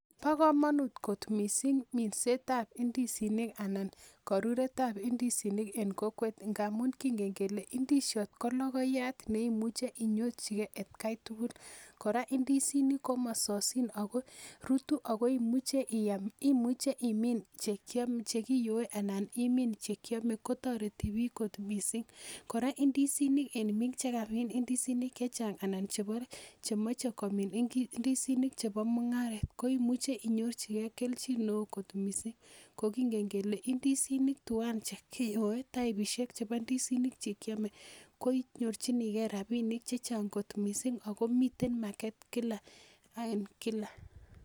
Bo komonut kot missing minset ab ndisinik anan koruret ab ndisinik en kokwet ngamun kingen kele ndisiot ko logoiyat neimuche inyorchigee atkai tugul kora ndisinik komososin rutu ako imuche iam imuche imin chekiyoe anan imin chekiome kotoreti biik kot missing kora ndisinik en biik chekamin ndisinik chechang ana chemoche komin ndisinik chebo mung'aret koimuche inyorchigee kelchin neoo kot missing ko kingen kele ndisinik twan chekiyoe taipisiek chebo ndisinik chekiome ko inyorchigee rapinik chechang missing ako miten market kila ak kila